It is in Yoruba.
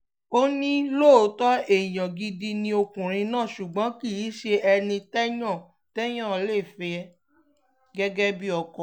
ó ní lóòótọ́ èèyàn gidi ni ọkùnrin náà ṣùgbọ́n kì í ṣe ẹni téèyàn téèyàn lè fẹ́ gẹ́gẹ́ bíi ọkọ